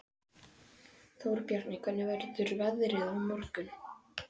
Þórbjarni, hvernig verður veðrið á morgun?